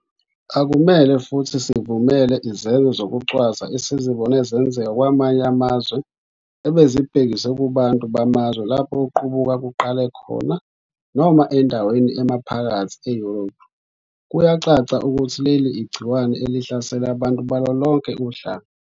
Akumele futhi sivumele izenzo zokucwasa esizibone zenzeka kwamanye amazwe ebezibhekiswe kubantu bamazwe lapho ukuqubuka kuqale khona noma endaweni emaphakathi e-Europe. Kuyacaca ukuthi leli igciwane elihlasela abantu balolonke uhlanga.